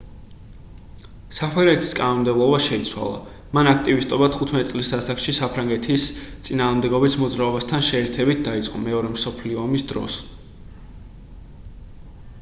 საფრანგეთის კანონმდებლობა შეიცვალა მან აქტივისტობა 15 წლის ასაკში საფრანგეთის წინააღმდეგობის მოძრაობასთან შეერთებით დაიწყო მეორე მსოფლიო ომის დროს